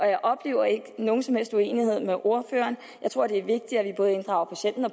jeg oplever ikke nogen som helst uenighed med ordføreren jeg tror det er vigtigt at vi både inddrager patienten og